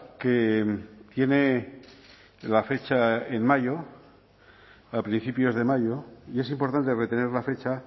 que tiene la fecha en mayo a principios de mayo y es importante retener la fecha